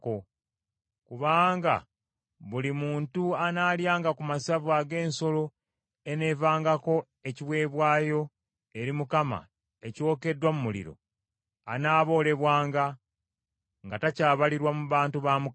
Kubanga buli muntu anaalyanga ku masavu ag’ensolo eneevangako ekiweebwayo eri Mukama ekyokeddwa mu muliro, anaaboolebwanga, nga takyabalirwa mu bantu ba Mukama .